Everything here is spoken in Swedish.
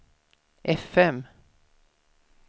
fm